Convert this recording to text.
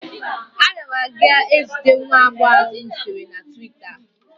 Ana m aga ezute nwa agbọghọ ahụ m zutere na twita.